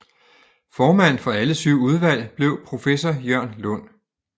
Formand for alle syv udvalg blev professor Jørn Lund